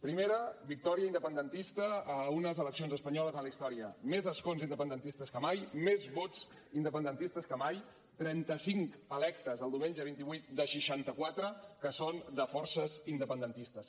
primer victòria independentista a unes eleccions espanyoles en la història més escons independentistes que mai més vots independentistes que mai trenta cinc electes el diumenge vint vuit de seixanta quatre que són de forces independentistes